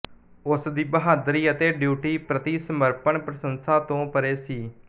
ਉਸਦੀ ਬਹਾਦਰੀ ਅਤੇ ਡਿਊਟੀ ਪ੍ਰਤੀ ਸਮਰਪਣ ਪ੍ਰਸੰਸਾ ਤੋਂ ਪਰੇ ਸੀ